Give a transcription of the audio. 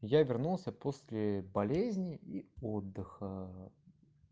я вернулся после болезни и отдыха